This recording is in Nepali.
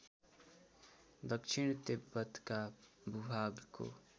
दक्षिण तिब्बतका भूभागको